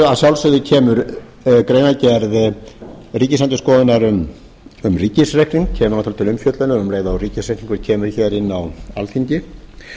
að sjálfsögðu kemur greinargerð ríkisendurskoðunar um ríkisreikning til umfjöllunar um leið og ríkisreikningur kemur hér inn á alþingi